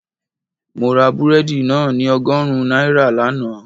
Mo ra búrẹ́dì náà ní ọgọ́rùn-ún náírà lánàá